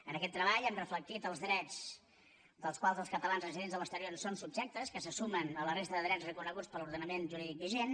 en aquest treball hem reflectit els drets dels quals els catalans residents a l’exterior són subjectes que se sumen a la resta de drets reconeguts per l’ordenament jurídic vigent